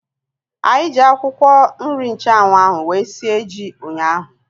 Anyị ji akwụkwọ nri nchanwu ahu wee sie ji ụnyaahụ